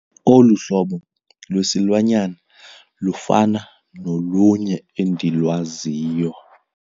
Olu hlobo lwesilwanyana lufana nolunye endilwaziyo.